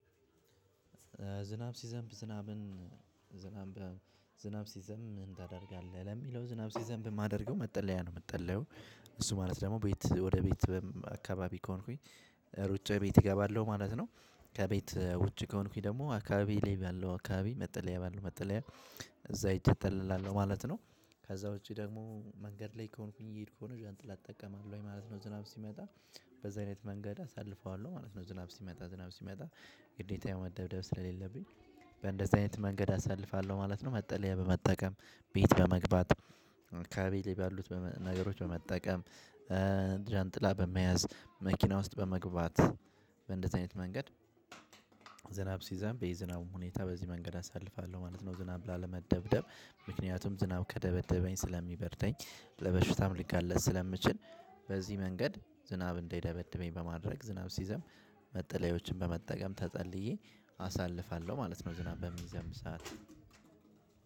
ዝናብ ሲዘንብ ዝናብን ዝናብ ዝናብ ሲዘንብ ምን ታደርጋለህ? ለሚለው ዝናብ ሲዘንብ የማደርገው መጠለያ ነው የምጠለለው። እሱ ማለት ደግሞ ቤት ወደ ቤት አካባቢ ከሆንኩኝ ሩጬ ቤት እገባለሁ ማለት ነው። ከቤት ውጭ ከሆንኩኝ ደግሞ አካባቢ ላይ ባለው አካባቢ መጠለያ ባለው መጠለያ እዛ ይጠለላለው ማለት ነው። ከዛ ውጪ ደግሞ መንገድ ላይ ከሆንኩኝ እየሄድኩ ከሆነ ዣንጥላ እጠቀማለሁ ወይ ማለት ነው። ዝናብ ሲመጣ በዚህ አይነት መንገድ አሳልፈዋለሁ ማለት ነው። ዝናብ ሲመጣ ዝናብ ሲመጣ ግዴታ መደብደብ ስለሌለብኝ። በእንደዚህ አይነት መንገድ አሳልፋለሁ ማለት ነው። መጠለያ በመጠቀም ቤት በመግባት ካቤሌ ባሉት ነገሮች በመጠቀም። ዣንጥላ በመያዝ መኪና ውስጥ በመግባት በእንደዚህ አይነት መንገድ። ዝናብ ሲዘንብ የዝናቡ ሁኔታ በዚህ መንገድ አሳልፋለሁ ማለት ነው። ዝናብ ላለመደብደብ ምክንያቱም ዝናብ ከደበደበኝ ስለሚበርደኝ ለበሽታም ልጋለጥ ስለምችል። በዚህ መንገድ ዝናብ እንዳይደበደበኝ በማድረግ ዝናብ ሲዘም መጠለያዎችን በመጠቀም ተጠልዬ አሳልፋለሁ ማለት ነው። ዝናብ በሚዘምብ ሰዓት